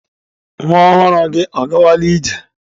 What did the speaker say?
Nwa ọhụrụ gị ọ gawala ije?.